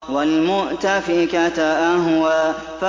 وَالْمُؤْتَفِكَةَ أَهْوَىٰ